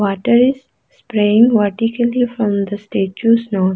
water is spraying vertically from the statue nose.